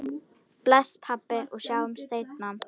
Bless, pabbi, og sjáumst seinna.